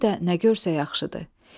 Bir də nə görsə yaxşıdır.